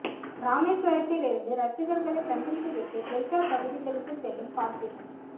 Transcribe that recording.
ராமேஸ்வரத்தில் இருந்து ரசிகர்களை சந்தித்து விட்டு டெல்டா பகுதிகளுக்கு செல்லும் பார்த்திபன்